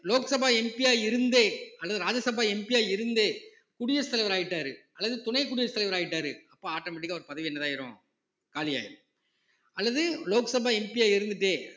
Lok Sabha MP யா இருந்தே அல்லது ராஜ்ய சபா MP யா இருந்தே குடியரசுத் தலைவர் ஆயிட்டாரு அல்லது துணை குடியரசுத் தலைவர் ஆயிட்டாரு அப்ப automatic ஆ அவர் பதவி என்ன ஆயிரும் காலியாயிரும் அல்லது லோக்சபா MP யா இருந்துட்டே